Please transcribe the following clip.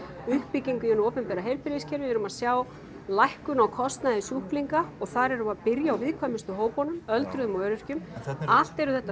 uppbyggingu í hinu opinbera heilbrigðiskerfi við erum að sjá lækkun á kostnaði sjúkling og þar erum við að byrja á viðkvæmustu hópunum öldruðum og öryrkjum allt eru þetta